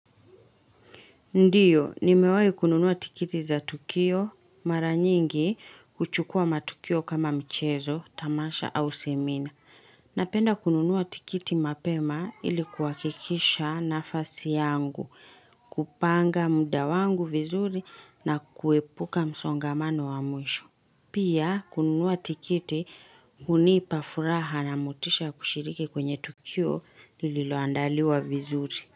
Ndiyo, nimewahi kununua tikiti za tukio, mara nyingi huchukua matukio kama mchezo, tamasha au semina. Napenda kununuwa tikiti mapema ilikuakikisha nafasi yangu, kupanga muda wangu vizuri na kuepuka msongamano wa mwisho. Pia, kununua tikiti hunipa furaha na mutisha ya kushiriki kwenye tukio lililoandaliwa vizuri.